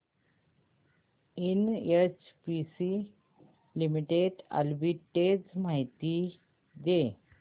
NHPC Limited arbitrage माहिती दे